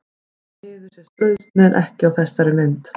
Því miður sést brauðsneiðin ekki á þessari mynd.